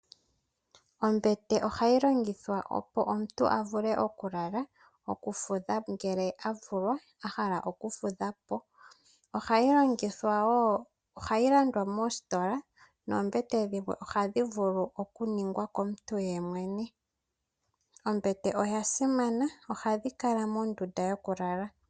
Ombete oha gi longithwa opo omuntu a vule okulala, okufudha po ngele a vulwa, a hala okufudha po. Oha yi landwa moositola noombete dhimwe oha dhi vulu okuningwa komuntu yemwene. Ombete oya simana, ohadhi kala mondunda yo ku lala.